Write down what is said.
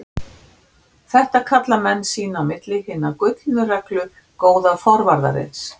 Þetta kalla menn sín á milli Hina gullnu reglu góða forvarðarins.